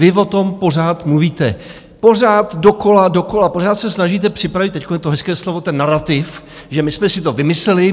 Vy o tom pořád mluvíte, pořád dokola, dokola, pořád se snažíte připravit, teď je to hezké slovo, ten narativ, že my jsme si to vymysleli.